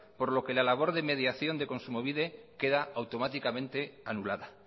por lo que la labor de mediación de kontsumobide queda automáticamente anulada